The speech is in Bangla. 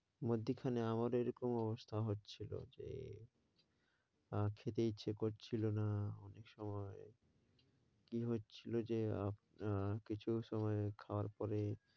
মধ্যিখানে আমারও এরকম অবস্থা হচ্ছিল যে আহ খেতে ইচ্ছে করছিল না অনেক সময়। কী হচ্ছিল যে আমরা কিছু সময় খাওয়ার পরে,